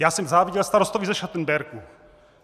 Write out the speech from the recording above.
Já jsem záviděl starostovi ze Schattenbergu.